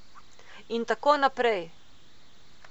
In tako naprej.